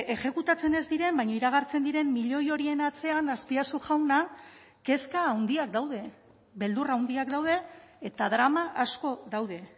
exekutatzen ez diren baina iragartzen diren milioi horien atzean azpiazu jauna kezka handiak daude beldur handiak daude eta drama asko daude